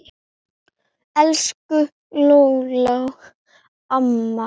Elsku Lóló amma.